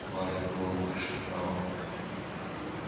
кивая головой шептала